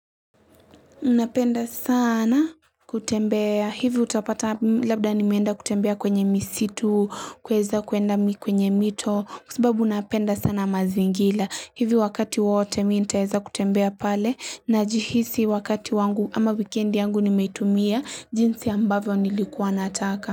Unapenda sana kutembea hivi utapata labda nimenda kutembea kwenye misitu kweza kuenda kwenye mito kusibabu unapenda sana mazingila hivi wakati wote minta heza kutembea pale na jihisi wakati wangu ama wikendi yangu nimetumia jinsi ambavyo nilikuwa nataka.